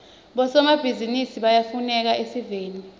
bosomabhizinisi bayafuneka esiveni